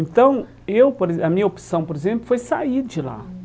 Então, eu por exemplo a minha opção, por exemplo, foi sair de lá. Hum